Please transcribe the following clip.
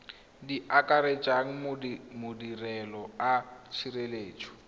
di akaretsang madirelo a tshireletso